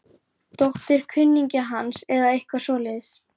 Dóttir kunningja hans eða eitthvað svoleiðis.